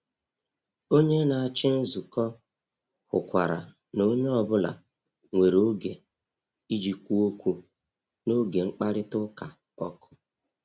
Onye na-achị nzukọ hụkwara na onye ọ bụla nwere oge iji kwuo okwu n’oge mkparịta ụka ọkụ.